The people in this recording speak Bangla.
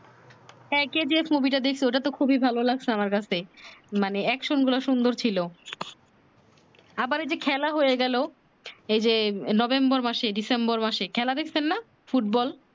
হ্যাঁ KGF মুভি টা দেখছি ঐ টা তো খুবি ভালো লাগছে আমার কাছে মানে Action গুলা সুন্দর ছিলো আবার এই যে খেলা হয়ে গেলো এই যে November মাসে december মাসে খেলা দেখছেন না ফুটবল